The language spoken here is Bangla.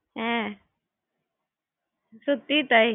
হ্যাঁ সেই কানা মামাই হলাম রে আমি সত্যিই তাই